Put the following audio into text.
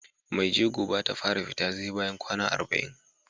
Mai jego Bata fara fita SE bayan kwAna arba'in